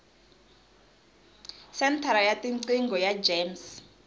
senthara ya tiqingho ya gems